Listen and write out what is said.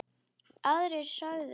Aðrir sögðu: